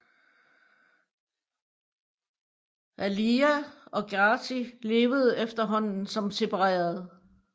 Aliya og Ghazi levede efterhånden som separerede